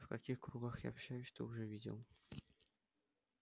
в каких кругах я общаюсь ты уже видел